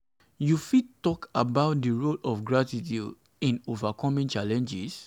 you fit talk fit talk about di role of gratitude in overcoming challenges?